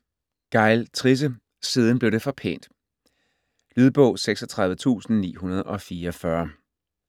Gejl, Trisse: Siden blev det for pænt Lydbog 36944